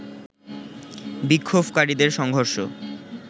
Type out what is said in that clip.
বিক্ষোভকারীদের সংঘর্ষ